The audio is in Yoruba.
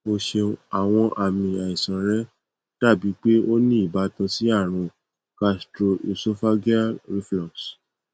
o ṣeun awọn aami aisan rẹ dabi pe o ni ibatan si arun gastroesophageal reflux